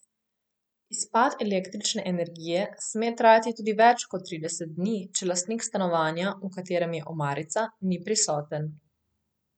Izpad električne energije sme trajati tudi več kot trideset dni, če lastnik stanovanja, v katerem je omarica, ni prisoten.